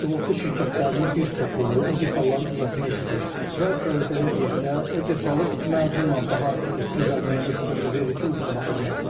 Sığorta şirkətlərinin bir çoxu o detalları düzəltmək istəyir və belə deyək də, o detalı macunla daha düzəlməyinə üstünlük verir ki, ucuz başa gəlsin.